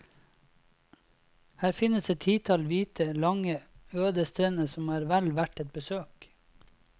Her finnes et titall hvite, lange, øde strender som er vel verd et besøk.